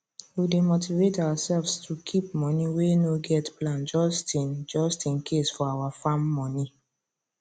we dey motivate ourselves to keep money wey no get plan just in just in case for our farm money